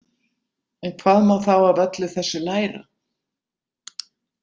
En hvað má þá af öllu þessu læra?